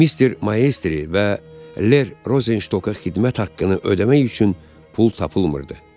Mister Mayestri və Ler Rozenşka xidmət haqqını ödəmək üçün pul tapılmırdı.